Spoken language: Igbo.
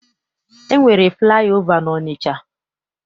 E nwere flaị ova n'Ọnịcha.